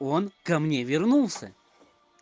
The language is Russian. он ко мне вернулся